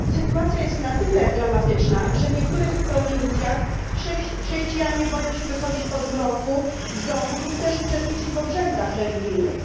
Sytuacja jest na tyle dramatyczna, że w niektórych prowincjach chrześcijanie boją się wychodzić po zmroku z domu lub też uczestniczyć w obrzędach religijnych.